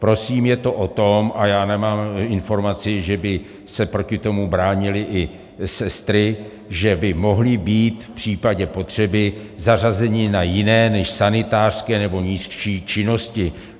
Prosím, je to o tom, a já nemám informaci, že by se proti tomu bránily i sestry, že by mohli být v případě potřeby zařazeni na jiné než sanitářské nebo nižší činnosti.